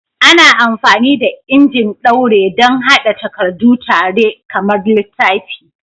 Ana amfani da injin ɗaure don haɗa takardu tare kamar littafi.